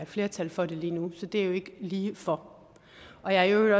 flertal for det lige nu så det står jo ikke lige for og jeg er jo i